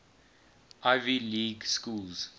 ivy league schools